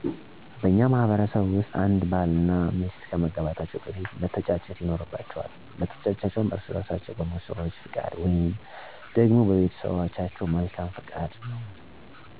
በእኛ ማህበረሰብ ውስጥ አንድ ባል እና ሚስት ከመጋባታቸው በፊት መተጫጨት ይኖርባቸዋል። መተጫጨታቸውም በእራሳቸው በሙሽሮቹ ፈቃድ ወይንም ደግሞ በቤተሰቦቻቸው መልካም ፈቃድ ነው። ከዛም በኋላ ደግሞ የሙሽራው ወገን ከዘመዶቹ ወይም ከአካባቢው ከሚኖሩ ትላላቅ ስዎች መርጠው ወደ ሙሽራይቱ ቤተሰቦች ይላካሉ፤ ሄደውም ልጃችንን ለልጃችሁ ብለው የቤተሰቦቿን መልካም ፈቃድ ይጠይቃሉ። የሙሽራይቱ ቤተሰቦችም ፈቃዳቸውን ሰጥተው የመጡትን ሽማግሌዎች ያስተናግዳሉ ደስታንም ያደርጋሉ።